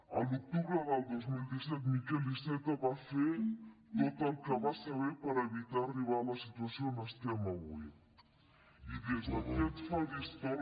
a l’octubre del dos mil disset miquel iceta va fer tot el que va saber per evitar arribar a la situació on estem avui i des d’aquest faristol